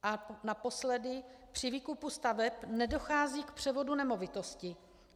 A naposledy, při výkupu staveb nedochází k převodu nemovitosti.